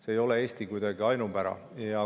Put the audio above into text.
See ei ole kuidagi Eesti ainupära.